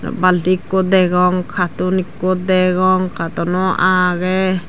balti ekku degong carton ekku degong cartono agey.